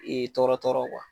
Ee tɔɔrɔ tɔɔrɔ